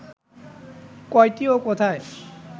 কয়টি ও কোথায়